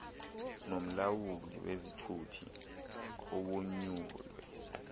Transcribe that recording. nomlawuli wezithuthi owonyulwe